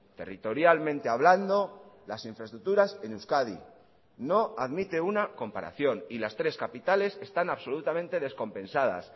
territorialmente hablando las infraestructuras en euskadi no admite una comparación y las tres capitales están absolutamente descompensadas